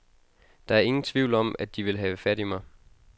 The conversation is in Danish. Der er ingen tvivl om, at de vil have fat i mig.